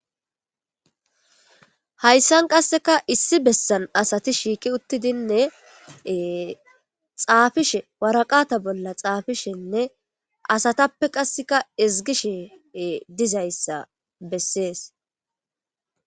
hayssan qasseka issi bessan asati shiiqi uttidinne xaafishe waraqata bolla xaafishenne asatappe qasseka ezgishe dizayssa bessees